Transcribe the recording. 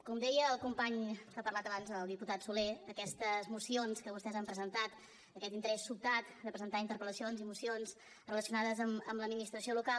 com deia el company que ha parlat abans el diputat solé aquestes mocions que vostès han presentat aquest interès sobtat de presentar interpel·lacions i mocions relacionades amb l’administració local